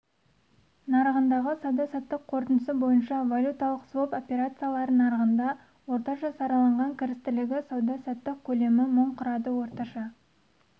нарығындағы сауда-саттықтың қорытындысы бойынша валюталық своп операциялары нарығында орташа сараланған кірістілігі сауда-саттық көлемі мың құрады орташа